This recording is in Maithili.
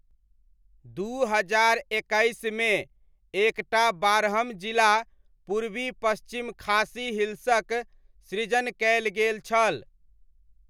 दू हजार एकैसमे एक टा बारहम जिला पूर्वी पश्चिम खासी हिल्सक सृजन कयल गेल छल।